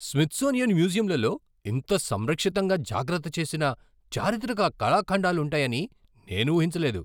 Smithsonian మ్యూజియంలలో ఇంత సంరక్షితంగా జాగ్రత్త చేసిన చారిత్రక కళాఖండాలు ఉంటాయని నేను ఊహించలేదు.